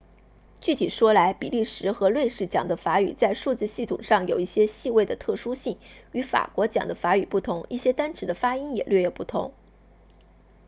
具体说来比利时和瑞士讲的法语在数字系统上有一些细微的特殊性与法国讲的法语不同一些单词的发音也略有不同